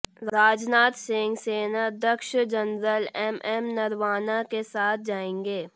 राजनाथ सिंह सेनाध्यक्ष general MM Naravane के साथ जाएंगे